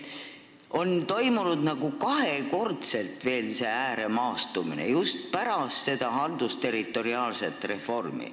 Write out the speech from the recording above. Just pärast seda haldusterritoriaalset reformi on toimunud nagu veel kahekordne ääremaastumine.